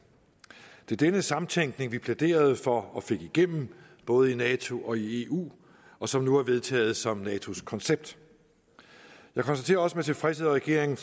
det er denne samtænkning vi plæderede for og fik igennem i både nato og eu og som nu er vedtaget som natos koncept jeg konstaterer også med tilfredshed at regeringen